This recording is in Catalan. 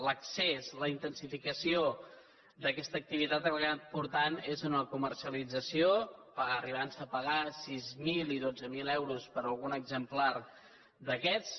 l’excés la intensificació d’aquesta activitat al que ha acabat portant és a una comercialització s’han arribat a pagar sis mil i dotze mil euros per algun exemplar d’aquests